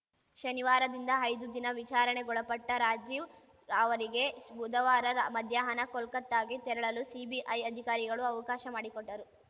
ಶನಿವಾರದಿಂದ ಐದು ದಿನ ವಿಚಾರಣೆಗೊಳಪಟ್ಟರಾಜೀವ್‌ ಅವರಿಗೆ ಬುಧವಾರ ಮಧ್ಯಾಹ್ನ ಕೋಲ್ಕತ್ತಾಗೆ ತೆರಳಲು ಸಿಬಿಐ ಅಧಿಕಾರಿಗಳು ಅವಕಾಶ ಮಾಡಿಕೊಟ್ಟರು